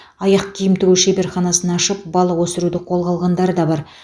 аяқ киім тігу шеберханасын ашып балық өсіруді қолға алғандары да бар